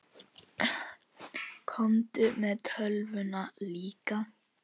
Komdu með tölvuna líka.